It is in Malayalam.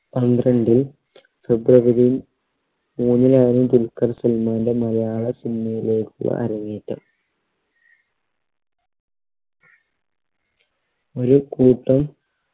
പന്ത്രണ്ടിൽ ഫെബ്രുവരി മൂന്നിനാണ് ദുൽഖർ സൽമാൻറെ മലയാള cinema യിലെക്കുള്ള അരങ്ങേറ്റം ഒരു കൂട്ടം